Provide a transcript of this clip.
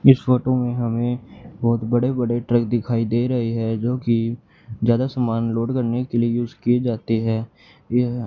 इस फोटो में हमें बहोत बड़े बड़े ट्रक दिखाई दे रहे हैं जोकि ज्यादा सामान लोड करने के लिए यूज किए जाते हैं यह--